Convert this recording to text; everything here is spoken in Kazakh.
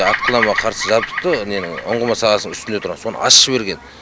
атқыламаға қарсы жабдықты ненің ұңғыманың сағасының үстінде тұрған соны ашып жіберген